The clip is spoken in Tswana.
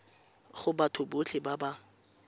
go batho botlhe ba ba